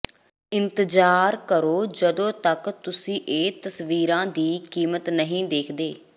ਇੰਤਜ਼ਾਰ ਕਰੋ ਜਦੋਂ ਤੱਕ ਤੁਸੀਂ ਇਹ ਤਸਵੀਰਾਂ ਦੀ ਕੀਮਤ ਨਹੀਂ ਦੇਖਦੇ